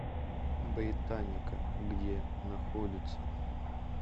британника где находится